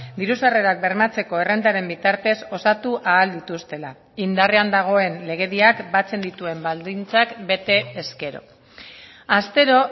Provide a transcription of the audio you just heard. diru sarrerak bermatzeko errentaren bitartez osatu ahal dituztela indarrean dagoen legediak batzen dituen baldintzak bete ezkero astero